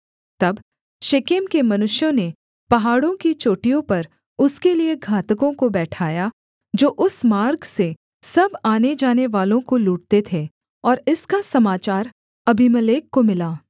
तब शेकेम के मनुष्यों ने पहाड़ों की चोटियों पर उसके लिये घातकों को बैठाया जो उस मार्ग से सब आने जानेवालों को लूटते थे और इसका समाचार अबीमेलेक को मिला